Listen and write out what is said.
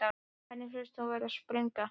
Henni finnst hún vera að springa.